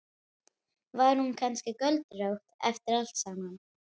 Við horfum þegjandi út á gráan sjó.